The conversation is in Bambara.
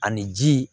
Ani ji